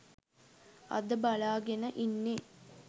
අද බලාගෙන ඉන්නේ